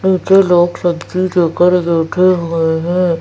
नीचे लोग सब्जी बैठे हुए है।